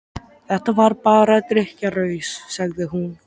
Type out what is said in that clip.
Þetta var bara drykkjuraus, sagði hún.